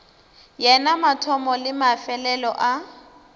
yena mathomo le mefelelo a